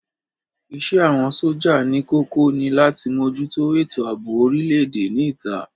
Isẹ́ àwọn sójà ní kókó ni láti mójútó ètò àbò orile-èdè ní ìta